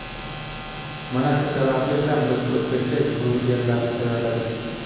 Mana shu sababli ham biz o‘zbekcha burgerlarni tayyorladik.